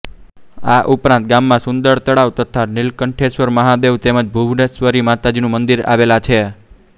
આ ઉપરાંત ગામમાં સુંદર તળાવ તથા નીલકંઠેશ્વર મહાદેવ તેમજ ભુવનેશ્વરી માતાનું મંદિર આવેલાં છે